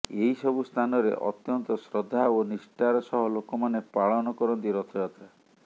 ଏହି ସବୁ ସ୍ଥାନରେ ଅତ୍ୟନ୍ତ ଶ୍ରଦ୍ଧା ଓ ନିଷ୍ଠାର ସହ ଲୋକମାନେ ପାଳନ କରନ୍ତି ରଥଯାତ୍ରା